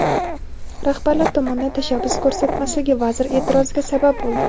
rahbarlar tomonidan tashabbus ko‘rsatmasligi vazir eʼtiroziga sabab bo‘ldi.